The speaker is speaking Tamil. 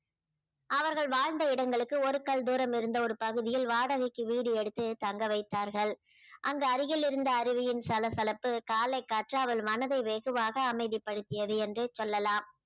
அவர்கள் வாழ்ந்த இடங்களுக்கு ஒரு கல் தூரம் இருந்த ஒரு பகுதியில் வாடகைக்கு வீடு எடுத்து தங்க வைத்தார்கள் அங்கு அருகில் இருந்த அருவியின் சலசலப்பு காலை காற்றா அவள் மனதை வெகுவாக அமைதிப்படுத்தியது என்றே சொல்லலாம்